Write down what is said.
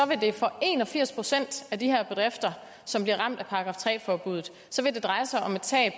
vil det for en og firs procent af de her bedrifter som bliver ramt af § tre forbuddet dreje sig om et tab